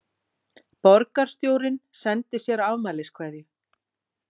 Borgarstjórinn sendir sér afmæliskveðju